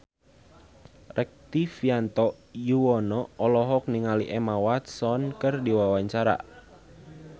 Rektivianto Yoewono olohok ningali Emma Watson keur diwawancara